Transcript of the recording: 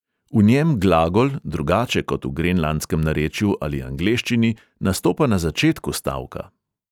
V njem glagol, drugače kot v grenlandskem narečju ali angleščini, nastopa na začetku stavka.